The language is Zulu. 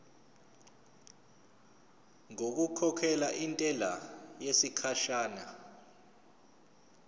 ngokukhokhela intela yesikhashana